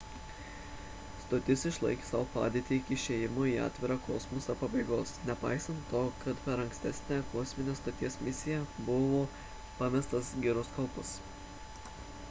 stotis išlaikė savo padėtį iki išėjimo į atvirą kosmosą pabaigos nepaisant to kad per ankstesnę kosminės stoties misiją buvo pamestas giroskopas